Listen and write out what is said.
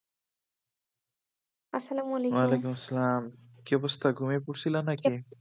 আসসালাম আলিকুম ওয়ালাইকুম আসসালাম কি অবস্থা ঘুমিয়ে পড়ছিলা নাকি?